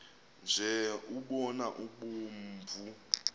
nje umbona obomvu